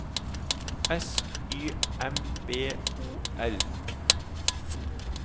S Y M B O L